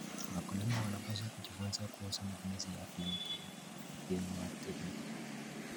Wakulima wanapaswa kujifunza kuhusu matumizi ya viuatilifu.